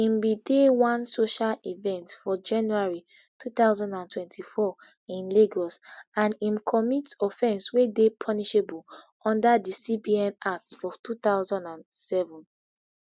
im bin dey one social event for january two thousand and twenty-four in lagos and im commit offence wey dey punishable under di cbn act of two thousand and seven